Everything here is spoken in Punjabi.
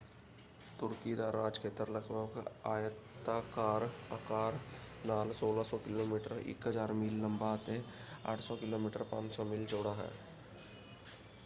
ਤੁਰਕੀ ਦਾ ਰਾਜਖੇਤਰ ਲਗਭਗ ਆਇਤਾਕਾਰ ਆਕਾਰ ਨਾਲ 1,600 ਕਿਲੋਮੀਟਰ 1,000 ਮੀਲ ਲੰਬਾ ਅਤੇ 800 ਕਿਲੋਮੀਟਰ 500 ਮੀਲ ਚੌੜਾ ਹੈ।